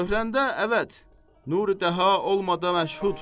Cövhərdə əvət, nur-i dəha olmadı məşhud.